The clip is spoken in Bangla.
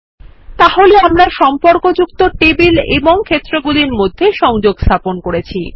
তাহলে আমরা সম্পর্কযুক্ত টেবিল এবং ক্ষেত্রগুলির মধ্যে সংযোগ স্থাপন করেছি